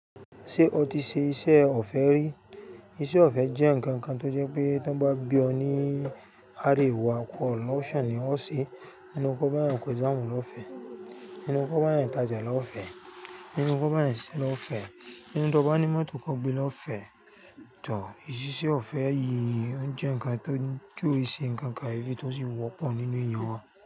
Ṣé o ti ṣe iṣẹ́ ọ̀fẹ́ rí? Iṣẹ́ ọ̀fẹ́ jẹ́ nǹkan kan tó jẹ́ pé tí wọ́n bá bí ọ ní àríwá pọ̀ lọ́ọ̀ṣà ni wọ́n ṣe, nínú kọ́ bá yẹn kọ exam lọ́fẹ̀, nínú kọ́ bá yẹn tajẹ̀ lọ́fẹ̀, nínú kọ́ bá yẹn ṣé lọ́fẹ̀, nínú tí wọ́n bá ní mọ́tò kọ gbé lọ́fẹ̀ tọ̀. Ìsiṣe ọ̀fẹ́ yìí oun jẹ́ nǹkan ti o i se nǹkan kayefi tó sì wọ́pọ̀ nínú ẹ̀yàn wa.